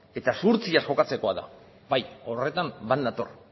eta zuhurtziaz jokatzekoa da bai horretan bat nator